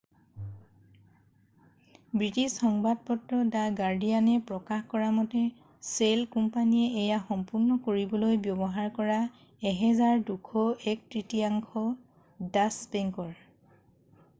British সংবাদপত্ৰ the গাৰ্ডিয়ানে প্ৰকাশ কৰামতে শ্বেল কোম্পানীয়ে এয়া সম্পূৰ্ণ কৰিবলৈ ব্যৱহাৰ কৰা 1,200ৰ এক তৃতীয়াংশ ডাচ্চ বেংকৰ